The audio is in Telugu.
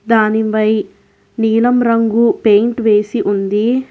దానిబై నీలం రంగు పెయింట్ వేసి ఉంది.